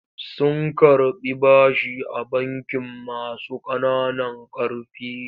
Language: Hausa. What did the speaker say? Sun karɓi bashi a bankin masu ƙananan ƙarfi.